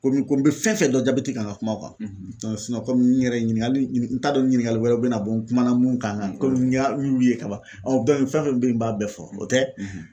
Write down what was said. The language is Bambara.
Komi ko n be fɛn fɛn dɔn jabɛti kan n ka kum'a kan dɔnc sinɔn n yɛrɛ kɔmi n yɛrɛ ɲiningali ɲinin t'a dɔn ɲiningali wɛrɛ be na bɔ n kuma na mun kan kan komi n y'a y'u ye ka ban weele ka ban ɔ bɛn fɛn fɛn be yen n b'a bɛɛ fɔ o tɛ